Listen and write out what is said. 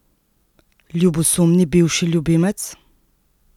Ljubosumni bivši ljubimec?